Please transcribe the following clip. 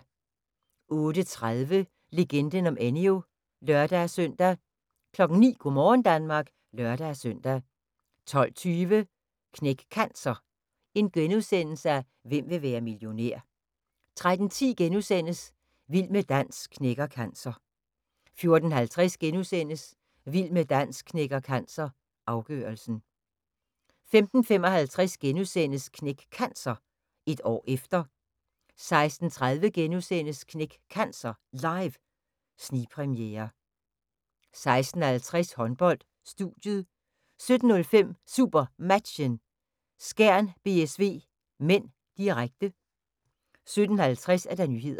08:30: Legenden om Enyo (lør-søn) 09:00: Go' morgen Danmark (lør-søn) 12:20: Knæk Cancer: Hvem vil være millionær? * 13:10: Vild med dans knækker cancer * 14:50: Vild med dans knækker cancer – afgørelsen * 15:55: Knæk Cancer: Et år efter * 16:30: Knæk Cancer Live – snigpremiere * 16:50: Håndbold: Studiet 17:05: SuperMatchen: Skjern-BSV (m), direkte 17:50: Nyhederne